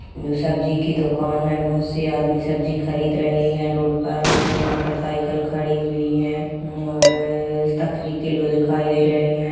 जे सब्जी की दुकान है बहुत से आदमी सब्जी खरीद रहे है रोड पर मोटरसाइकिल खड़ी हुई है और तखरी किलो दिखाई दे रहे है।